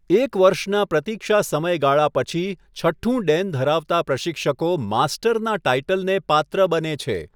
એક વર્ષના પ્રતીક્ષા સમયગાળા પછી, છઠ્ઠું ડેન ધરાવતા પ્રશિક્ષકો માસ્ટરના ટાઇટલને પાત્ર બને છે.